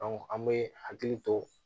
an bɛ hakili to